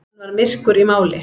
Hann var myrkur í máli.